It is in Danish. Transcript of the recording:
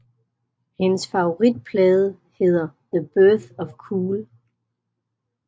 Hendes favoritplade hedder The Birth of Cool